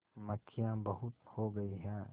मक्खियाँ बहुत हो गई हैं